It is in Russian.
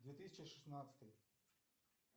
две тысячи шестнадцатый